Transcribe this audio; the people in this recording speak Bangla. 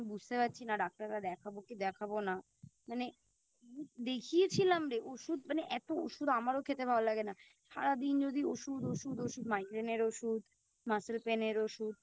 আমি বুঝতে পারছি না ডাক্তারটা দেখাবো কি দেখাবো না মানে দেখিয়েছিলাম রে ওষুধ মানে এতো ওষুধ আমার খেতে ভালো লাগে না সারাদিন যদি ওষুধ ওষুধ ওষুধ Migrain এর ওষুধ Muscle pain এর ওষুধ